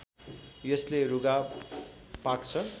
यसले रुघा पाक्छ